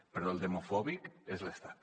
però el demofòbic és l’estat